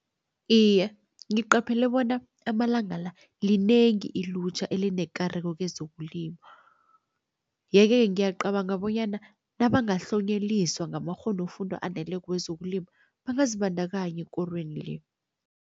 Iye, ngiqaphele bona amalanga la, linengi ilutjha elinekareko kezokulima. Yeke-ke ngiyacabanga bonyana nabangahlonyeliswa ngamakghonofundwa aneleko wezokulima bangazibandakanya ekorweni le.